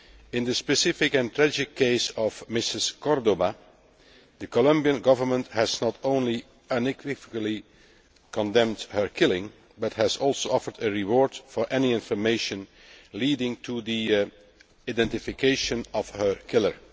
In the specific and tragic case of Mrs Córdoba the Colombian Government has not only unequivocally condemned her killing but has also offered a reward for any information leading to the identification of her killer.